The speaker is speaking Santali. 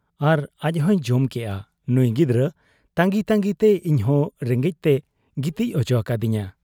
ᱟᱨ ᱟᱡᱦᱚᱸᱭ ᱡᱚᱢ ᱠᱮᱭᱟ ᱾ ᱱᱩᱸᱭ ᱜᱤᱫᱟᱹᱨ ᱛᱟᱺᱜᱤᱛᱟᱺᱜᱤᱛᱮ ᱤᱧᱦᱚᱸ ᱨᱮᱸᱜᱮᱡ ᱛᱮᱭ ᱜᱤᱛᱤᱡ ᱚᱪᱚ ᱠᱤᱫᱤᱧᱟ ᱾